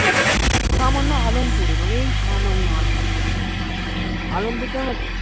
সামান্য আলামপুরে মানে এই সামান্য আলামপুরে আলম পুর জানো তো